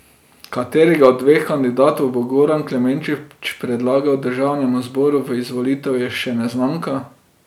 Katerega od dveh kandidatov bo Goran Klemenčič predlagal državnemu zboru v izvolitev, je še neznanka.